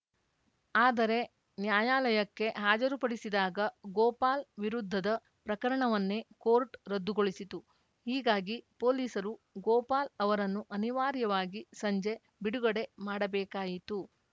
ಆದರೆ ನ್ಯಾಯಾಲಯಕ್ಕೆ ಹಾಜರುಪಡಿಸಿದಾಗ ಗೋಪಾಲ್‌ ವಿರುದ್ಧದ ಪ್ರಕರಣವನ್ನೇ ಕೋರ್ಟ್‌ ರದ್ದುಗೊಳಿಸಿತು ಹೀಗಾಗಿ ಪೊಲೀಸರು ಗೋಪಾಲ್‌ ಅವರನ್ನು ಅನಿವಾರ್ಯವಾಗಿ ಸಂಜೆ ಬಿಡುಗಡೆ ಮಾಡಬೇಕಾಯಿತು